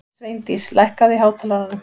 Sveindís, lækkaðu í hátalaranum.